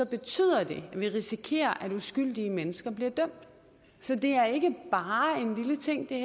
betyder det at vi risikerer at uskyldige mennesker bliver dømt så det her er ikke bare en lille ting det